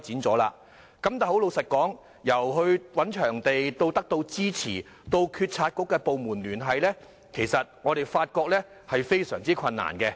但坦白說，由找場地到得到支持，到與政府部門聯繫，我們發現是非常困難的。